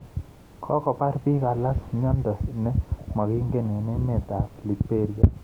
Kokobar biik alak myondo ne mangingen eng' emet ab liberia